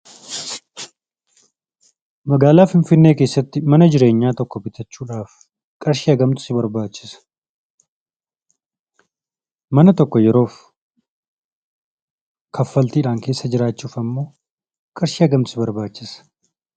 Magaala Finfinnee keessatti mana jireenyaa tokko bittaachudhaaf qarshii hammamtu si barbaachisa? Mana tokko yeroof kaffalttidhaan keessa jiraachuf ammoo qarshii hangamtuu si barbaachisa?